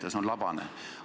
See on labane.